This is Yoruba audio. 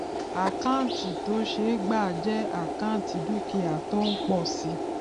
àkáǹtì tó ṣe é gbà jẹ àkáǹtì dúkìá tó ń pọ si